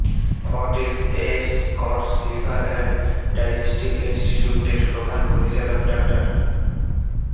Fortis Escorts liver and digestive ইন্সটিটিউটের প্রধান পরিচালক ডা